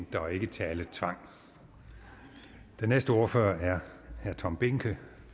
der ikke er taletvang den næste ordfører er herre tom behnke